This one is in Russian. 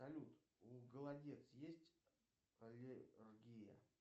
салют у голодец есть аллергия